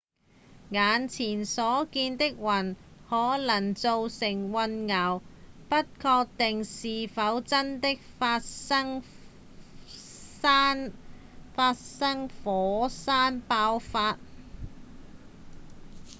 眼前所見的雲可能造成混淆不確定是否真的發生火山爆發